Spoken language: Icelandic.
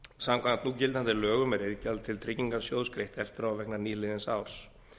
samkvæmt núgildandi lögum er iðgjald til tryggingarsjóðs greitt eftir á vegna nýliðins árs